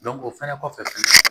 o fɛnɛ kɔfɛ